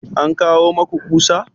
An kawo maku ƙusa?